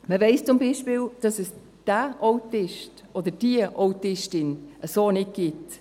Man weiss zum Beispiel, dass es Autisten oder Autistin so nicht gibt.